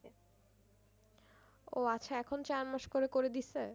ও আচ্ছা এখন চার মাস করে করে দিছে?